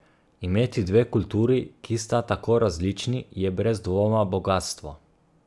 Imeti dve kulturi, ki sta tako različni, je brez dvoma bogastvo.